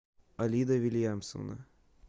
алида вильянсовна